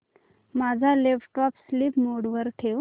माझा laptop sleep mode वर ठेव